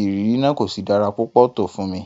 ìrírí náà kò sì dára púpọ̀ tó fún mi.